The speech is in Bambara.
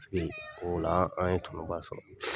O la, an ye tɔnɔ ba sɔrɔ.